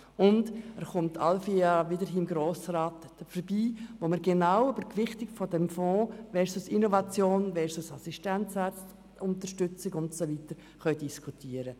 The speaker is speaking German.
Zudem kommen wir alle vier Jahre im Grossen Rat dazu, über die Gewichtung eines Fonds versus Innovation versus Assistenzärzte-Unterstützung und so weiter zu diskutieren.